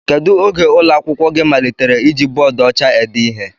Kedụ oge ụlọ akwụkwọ gị malitere iji bọọdu ọcha ede ihe?